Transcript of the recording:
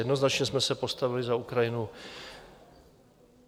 Jednoznačně jsme se postavili za Ukrajinu.